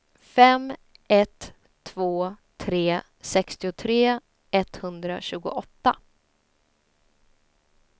fem ett två tre sextiotre etthundratjugoåtta